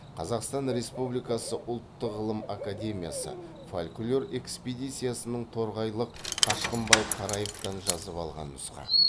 қазақстан республикасы ұлттық ғылым академиясы фольклор экспедициясының торғайлық қашқынбай қараевтан жазып алған нұсқа